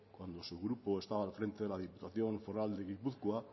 cuando su grupo estaba al frente de la diputación foral de guipúzcoa